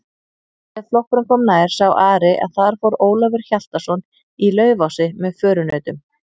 Þegar flokkurinn kom nær sá Ari að þar fór Ólafur Hjaltason í Laufási með förunautum.